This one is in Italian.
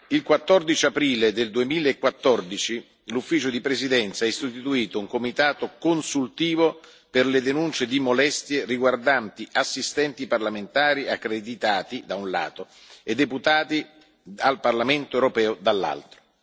il 14 aprile 2014 l'Ufficio di presidenza ha istituito un comitato consultivo per le denunce di molestie riguardanti assistenti parlamentari accreditati, da un lato, e deputati al Parlamento europeo, dall'altro.